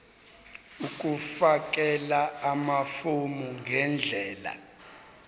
ukufakela amafomu ngendlela